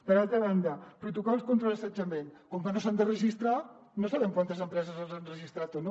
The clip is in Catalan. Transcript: per altra banda protocols contra l’assetjament com que no s’han de registrar no sabem quantes empreses els han registrat o no